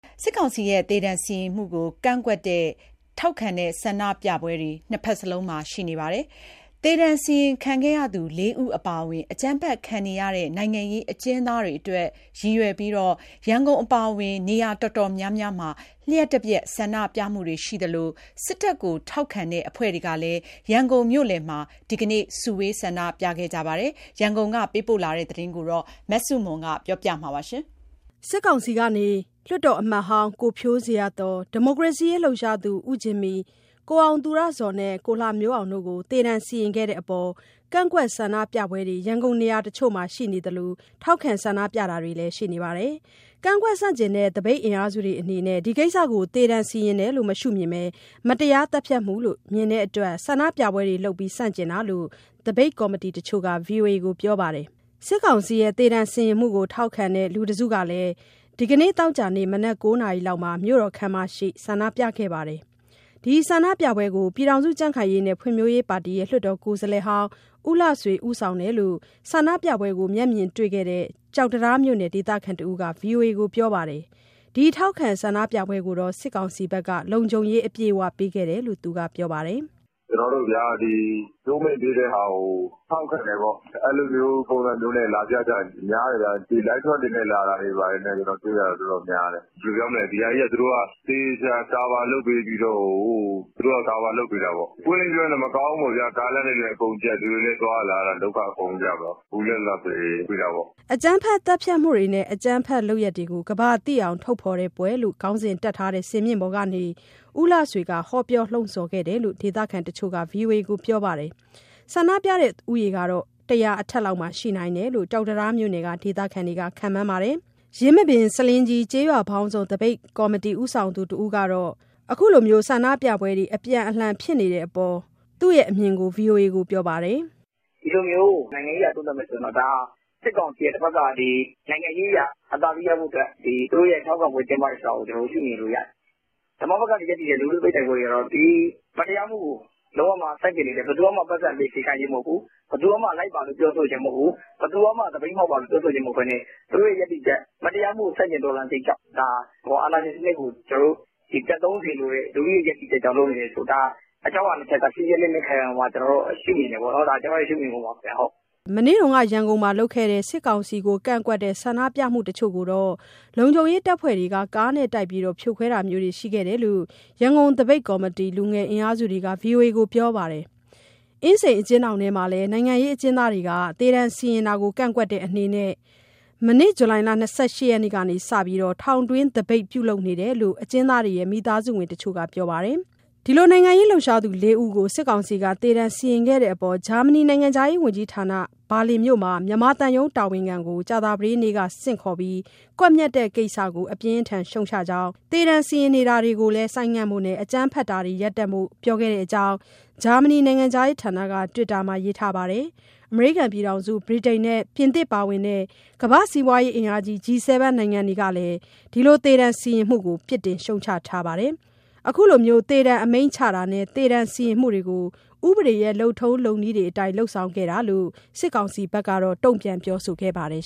စစ်ကောင်စီရဲ့ သေဒဏ်စီရင်မှုကို ကန့်ကွက်တဲ့၊ ထောက်ခံတဲ့ ဆန္ဒပြပွဲတွေ နှစ်ဘက်စလုံးရှိနေပါတယ်။ သေဒဏ်စီရင်ခံခဲ့ရသူ လေးဦးအပါအဝင် အကြမ်းဖက်ခံနေရတဲ့ နိုင်ငံရေး အကျဉ်းသားတွေအတွက်ရည်ရွယ်ပြီး ရန်ကုန်အပါအဝင် နေရာအတော်များများမှာ လျှပ်တပြက်ဆန္ဒပြမှုတွေရှိသလို စစ်တပ်ထောက်ခံတဲ့အဖွဲ့တွေကလည်း ရန်ကုန်မြို့လယ်မှာ ဒီနေ့ စုဝေးဆန္ဒပြကြပါတယ်။ ရန်ကုန်ကပေးပို့တဲ့သတင်း မဆုမွန်က တင်ပြပေးထားပါတယ်။ လွှတ်တော်အမတ်ဟောင်း ကိုဖြိုးဇေယျာသော်၊ ဒီမိုကရေစီအရေး လှုပ်ရှားသူ ဦးဂျင်မီ၊ ကိုအောင်သူရဇော်နဲ့ ကိုလှမျိုးအောင်တို့ကို စစ်ကောင်စီက သေဒဏ်စီရင်ခဲ့တာကို ကန့်ကွက်ဆန္ဒပြပွဲတွေ ရန်ကုန်နေရာတချို့မှာရှိနေသလို ထောက်ခံဆန္ဒပြတာတွေလည်း ရှိနေပါတယ်။ ကန့်ကွက်ဆန့်ကျင်တဲ့ သပိတ်အင်အားစုတွေအနေနဲ့ ဒီကိစ္စကို သေဒဏ်စီရင်တယ်လို့မရှုမြင်ဘဲ မတရားသတ်ဖြတ်မှုလို့ မြင်တဲ့အတွက် ဆန္ဒပြပွဲတွေလုပ်ပြီး ဆန့်ကျင်နေတာလို့ သပိတ်ကော်မတီတချို့က ဗွီအိုအေကို ပြောပါတယ်။ စစ်ကောင်စီရဲ့သေဒဏ်စီရင်မှုကို ထောက်ခံတဲ့ လူတစုကလည်း ဒီနေ့သောကြာနေ့ မနက် ၉ နာရီလောက် ရန်ကုန်မြို့တော်ခန်းမှာရှေ့မှာ ဆန္ဒပြခဲ့ပါတယ်။ ဒီဆန္ဒပြပွဲကို ပြည်ထောင်စုကြံ့ခိုင်ရေးနှင့် ဖွံ့ဖြိုးရေးပါတီရဲ့ လွှတ်တော်ကိုယ်စားလှယ်ဟောင်း ဦလှဆွေဦးဆောင်တယ်လို့ ဆန္ဒပြပွဲကိုမျက်မြင်တွေ့ခဲ့တဲ့ ကျောက်တံတားမြို့ နယ် ဒေသခံတဦးက ဗွီအိုအေကို ပြောပါတယ်။ ဒီထောက်ခံဆန္ဒပြပွဲကို စစ်ကောင်စီဘက်က လုံခြုံရေးအပြည့်အဝပေးခဲ့တယ်လို့ သူကပြောပါတယ်။ " ဒီ ကြိုးမိန့်ပေးတဲ့ဟာကို ထောက်ခံတယ်ပေါ့။ အဲလိုမျိုးပုံစံမျိုးနဲ့ လာပြကြတယ်။ များတယ်ဗျ။ လိုက်ထရပ်တွေနဲ့ တွေ့ရတာ တော်တော်များတယ်။ ဘယ်လိုပြောမလဲ။ ဒီဟာကြီးက သူတို့က သေချာကာဗာလုပ်ပေးပြီးတော့ကို၊ ကာဗာလုပ်ပေးတာပေါ့။ ပွင့်ပွင့်လင်းလင်းပြောရရင် မကောင်းဘူးပေါ့ဗျာ။ ကားလမ်းတွေလည်းအကုန်ကျပ်၊ လူတွေလည်း သွားရလာရတာ ဒုက္ခအကုန်ရောက်တာပေါ့။ ဘူးလက်လှဆွေ လုပ်တာပေါ့။" အကြမ်းဖက်သတ်ဖြတ်မှုများနှင့် အကြမ်းဖက်လုပ်ရပ်များကို ကမ္ဘာသိအောင်ထုတ်ဖော်ပွဲလို့ ခေါင်းစဉ်တပ်ထားတဲ့ စင်မြင့်ပေါ်ကနေ ဦးလှဆွေက ဟောပြောလှုံ့ဆော်ခဲ့တယ်လို့ ဒေသခံတချို့က ဗွီအိုအေကို ပြောပါတယ်။ ဆန္ဒပြသူဦးရေကတော့ ၁၀၀ အထက်မှာရှိနိုင်တယ်လို့ ကျောက်တံတားမြို့နယ်က ဒေသခံတွေက ခန့်မှန်းပါတယ်။ ယင်းမာပင်- ဆားလင်းကြီး ကျေးရွာပေါင်းစုံသပိတ်ကော်မတီ ဦးဆောင်သူတဦးကတော့ ဒါကိုစစ်ကောင်စီဘက်က အခုလိုဆန္ဒပြပွဲတွေ အပြန်အလှန်ဖြစ်နေတဲ့အပေါ် သူ့ရဲ့အမြင်ကို ဗွီအိုအေကို ပြောပါတယ်။ " နိုင်ငံရေးအရ သုံးသပ်မယ်ဆိုရင် ဒါဟာစစ်ကောင်စီရဲ့တဘက်က နိုင်ငံရေးအရ အသာစီးရဖို့အတွက် သူတို့ရဲ့ထောက်ခံပွဲ ကျင်းပတယ်ဆိုတာကို ကျနော်တို့ရှုမြင်လို့ရတယ်။ ဓမ္မဘက်ကရပ်တည်တဲ့ လူထုတိုက်ပွဲတွေကျတော့ မတရားမှုကို ဆန့်ကျင်တယ်။ ဘယ်သူကမှပိုက်ဆံပေးစရာမလိုဘူး၊ ဘယ်သူမှ လိုက်ပါ ပြောဆိုခြင်းမဟုတ်ဘူး။ ဘယ်သူမှ သပိတ်မှောက်ပါလို့ ပြောဆိုခြင်းမဟုတ်ဘဲ သူတို့ရဲ့ ရပ်တည်ချက်၊ မတရားမှုကို ဆန့်ကျင်တော်လှန်စိတ်ကြောင့် အာဏာရှင်စနစ်ကို ပျက်သုန်းစေလိုတဲ့ လူထုရဲ့ရပ်တည်ချက်ကြောင့် ဒါဟာအကြောင်းအရာနှစ်ချက် က ရှင်းရှင်းလင်းလင်း ရှုမြင်တယ်ပေါ့နော်။" မနေ့က ရန်ကုန်မှာလုပ်တဲ့ စစ်ကောင်စီကိုကန့်ကွက်တဲ့ ဆန္ဒပြမှုတချို့ကိုတော့ လုံခြုံရေးတပ်ဖွဲ့တွေက ကားနဲ့တိုက်ပြီး ဖြိုခွဲတာတာမျိုးတွေ ရှိခဲ့တယ်လို့ ရန်ကုန်သပိတ်ကော်မတီ လူငယ်အင်အားစုတွေက ဗွီအိုအေကို ပြောပါတယ်။ အင်းစိန်အကျဉ်းထောင်မှာလည်း နိုင်ငံရေးအကျဉ်းသားတွေက သေဒဏ်စီရင်တာကို ကန့်ကွက်တဲ့အနေနဲ့ မနေ့က ဇူလိုင်၂၈ ကစပြီး ထောင်တွင်းသပိတ် ပြုလုပ်နေတယ်လို့ အကျဉ်းသားတွေရဲ့ မိသားစုဝင်တချို့က ပြောပါတယ်။ နိုင်ငံရေးလှုပ်ရှားသူလေးယောက်ကို စစ်ကောင်စီက သေဒဏ်စီရင်ခဲ့တဲ့အတွက် ဂျာမနီနိုင်ငံခြားရေး ဝန်ကြီးဌာနက ဘာလင်မြို့မှာ မြန်မာသံရုံးတာဝန်ခံကို ကြာသပတေးနေ့က ဆင့်ခေါ်ခဲ့ပါတယ်။ ကွပ်မျက်တဲ့ကိစ္စကို အပြင်းအထန်ရှုတ်ချကြောင်းနဲ့ သေဒဏ်စီရင်တာတွေကိုလည်း ဆိုင်းငံ့ဖို့၊ အကြမ်းဖက်တာတွေ ရပ်တန့်ဖို့ပြောခဲ့ကြောင်း ဂျာမနီနိုင်ငံခြားရေးဌာနက Twitter မှာရေးသားထားပါတယ်။ အမေရိကန်၊ ဗြိတိန်နဲ့ ပြင်သစ်ပါဝင်တဲ့ ကမ္ဘာ့စီးပွားရေးအင်အားကြီး G7 နိုင်ငံတွေကလည်း ဒီသေဒဏ်စီရင်မှုကို ပြစ်တင်ရှုတ်ချထားပါတယ်။ အခုလို သေဒဏ်အမိန့်ချတာနဲ့ သေဒဏ်စီရင်မှုကို ဥပဒေလုပ်ထုံးလုပ်နည်းတွေအတိုင်း လုပ်ဆောင်တာလို့ စစ်ကောင်စီက တုံ့ပြန်ပြောဆိုခဲ့ပါတယ်